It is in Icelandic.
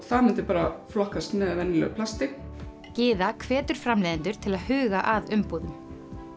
það myndi flokkast með venjulegu plasti Gyða hvetur framleiðendur til að huga að umbúðum